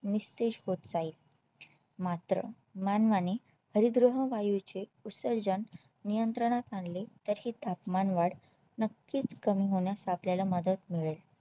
निस्तेज होत जाईल मात्र मानवाने हरितगृह वायूचे उत्सर्जन नियंत्रणात आणली तर ही तापमान वाढ नक्कीच कमी होण्यास आपल्या ला मदत मिळेल